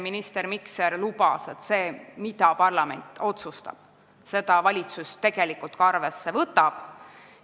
Minister Mikser lubas meile, et seda, mida parlament otsustab, valitsus tegelikult ka arvesse võtab.